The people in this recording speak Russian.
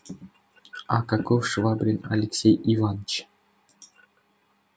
а каков швабрин алексей иваныч